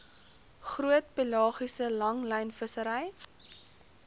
groot pelagiese langlynvissery